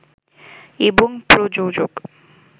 এবং প্রযোজক